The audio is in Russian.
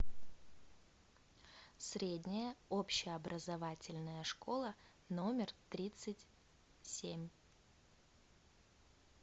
средняя общеобразовательная школа номер тридцать семь